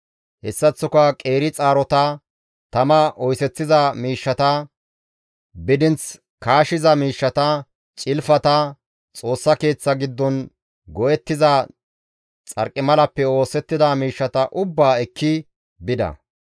Hessaththoka qeeri xaarota, tama oyseththiza miishshata, bidinth kaashiza miishshata, cilfata, Xoossa Keeththa giddon go7ettiza xarqimalappe oosettida miishshata ubbaa ekki bida.